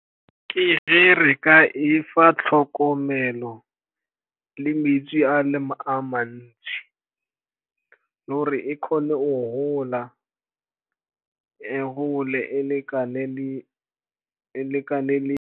Ke ge re ka efa tlhokomelo le metsi a mantsi le gore e kgone go gola, e gole e lekane le.